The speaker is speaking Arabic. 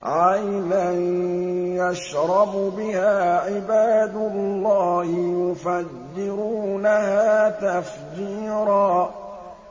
عَيْنًا يَشْرَبُ بِهَا عِبَادُ اللَّهِ يُفَجِّرُونَهَا تَفْجِيرًا